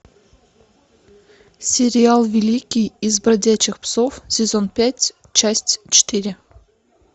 сериал великий из бродячих псов сезон пять часть четыре